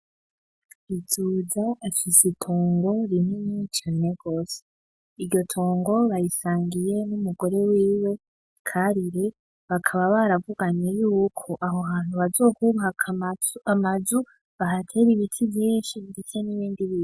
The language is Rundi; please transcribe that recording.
Bizoza afise itongo rinini cane gose, iryo tongo barisangiye n'umugore wiwe karire, bakaba baruvuganye yuko aho hantu bazohubaka amazu n'ibiti vyinshi ndetse n'ibindi bintu.